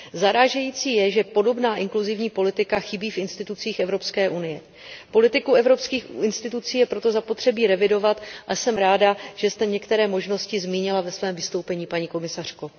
Zarážející je, že podobná inkluzivní politika chybí v institucích Evropské unie. Politiku evropských institucí je proto zapotřebí revidovat a jsem ráda, že jste některé možnosti zmínila ve svém vystoupení, paní komisařko.